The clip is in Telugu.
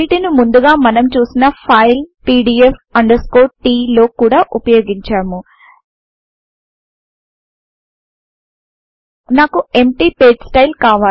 వీటిని ముందుగా మనం చుసిన ఫైల్ pdf t లో కూడా వుపయొగించాము నాకు ఎంప్టీ పేజెస్టైల్